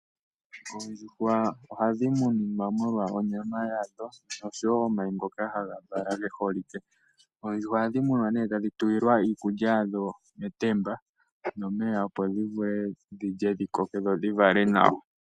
Oondjuhwa ohadhi munwa molwa onyama yadho noshowo omayi ngoka ge holike. Oondjuhwa ohadhi munwa tadhi tulilwa iikulya yadho metemba nomeya, opo dhi vule dhi lye dhi koke dho dhi vale nawa.